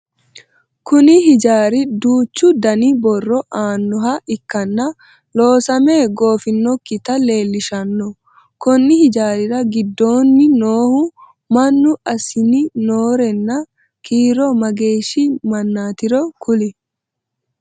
Kunni hijaari duuchu Danni horo aanoha ikanna loosame goofinokita leelishano konni hijaari gidoonni noohu mannu asinni noorenna kiiro mageeshi mannatiro kuli?